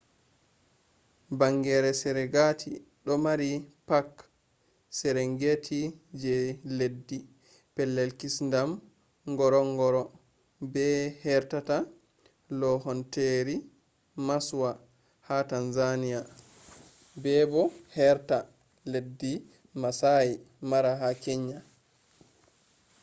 bangeere serengeti do mari park serengeti je leddi pellel kisndam ngorongoro be heerta loohanteeri maswa ha tanzania be bo heerta leddi maasai mara ha kenya